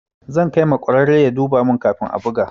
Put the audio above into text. Zan kai ma ƙwararre ya duba mun kafin a buga.